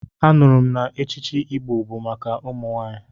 Anụrụ m na echichi Igolo bụ maka ụmụ nwaanyị.